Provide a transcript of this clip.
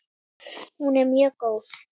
Hún er mjög góð.